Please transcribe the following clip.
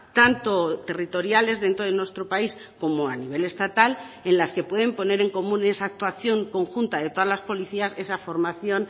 tanto territoriales dentro de nuestro país como a nivel estatal en las que pueden poner en común esa actuación conjunta de todas las policías esa formación